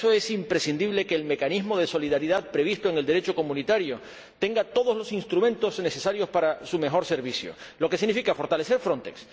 Y para eso es imprescindible que el mecanismo de solidaridad previsto en el Derecho comunitario tenga todos los instrumentos necesarios para su mejor servicio, lo que significa fortalecer Frontex.